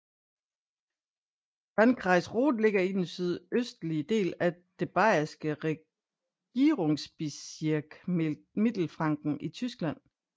Landkreis Roth ligger i den sydøstlige del af det bayereske Regierungsbezirk Mittelfranken i Tyskland